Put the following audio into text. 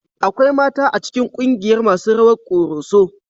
Akwai mata a cikin kungiyar masu rawar ƙoroso